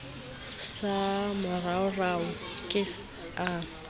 sa moraorao e ka ba